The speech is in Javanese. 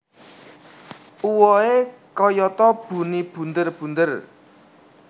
Uwohe kayata buni bunder bunder